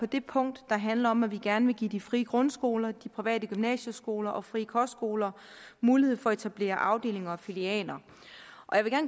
det punkt der handler om at vi gerne vil give de frie grundskoler de private gymnasieskoler og de frie kostskoler mulighed for at etablere afdelinger og filialer